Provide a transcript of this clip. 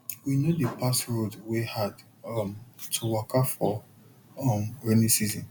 we no dey pass road wey hard um to waka for um rainy season